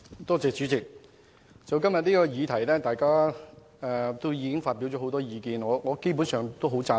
代理主席，今天大家就這項議題已發表很多意見，我基本上十分贊同。